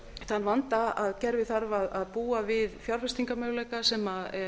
þann vanda að kerfið þarf að búa við fjárfestingarmöguleika sem